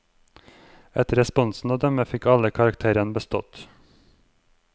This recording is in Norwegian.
Etter responsen å dømme fikk alle karakteren bestått.